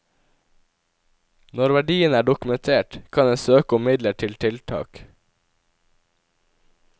Når verdiene er dokumentert, kan en søke om midler til tiltak.